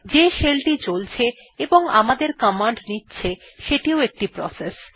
যে শেল টি চলছে এবং আমাদের কমান্ড নিচ্ছে সেটিও একটি প্রসেস